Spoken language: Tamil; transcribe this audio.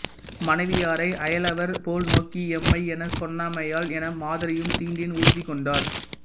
மனைவியாரை அயலவர் போல் நோக்கி எம்மை எனச் சொன்னமையால் எம் மாதரையும் தீண்டேன் உறுதி கொண்டார்